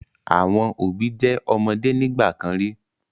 Àwọn òbí jẹ́ ọmọde nígbà kan rí.